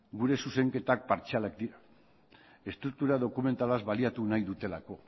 gure zuzenketak partzialak dira estruktura dokumentalaz baliatu nahi dutelako